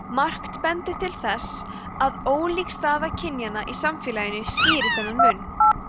margt bendir til þess að ólík staða kynjanna í samfélaginu skýri þennan mun